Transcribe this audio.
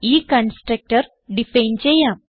ഈ constructor define ചെയ്യാം